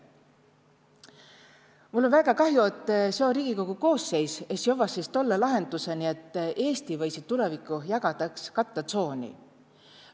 Mul om väega kahju, et seo Riigikogu koosseis es jovva siis tolle lahendusõni, et Eesti võisi tulevikuh jagada kattõ tsooni.